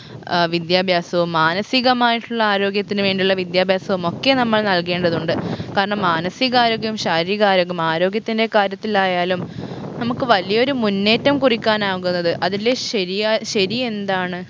ആഹ് വിദ്യാഭ്യാസവും മാനസികമായിട്ടുള്ള ആരോഗ്യത്തിന് വേണ്ടിയുള്ള വിദ്യാഭ്യാസവും ഒക്കെ നമ്മൾ നൽകേണ്ടതുണ്ട് കാരണം മാനസിക ആരോഗ്യവും ശാരീരിക ആരോഗ്യവും ആരോഗ്യത്തിൻറെ കാര്യത്തിൽ ആയാലും നമുക്ക് വലിയൊരു മുന്നേറ്റം കുറിക്കാനാകുന്നത് അതില് ശരിയാ ശരിയെന്താണ്